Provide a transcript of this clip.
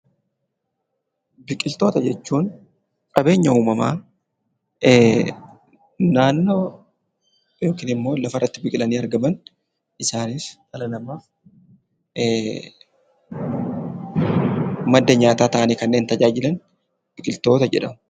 Biqiltoota jechuun qabeenya uumamaa naannoo yookiin immoo lafarratti biqilanii argaman isaanis dhala namaaf madda nyaataa ta'anii kanneen tajaajilan biqiltoota jedhamu.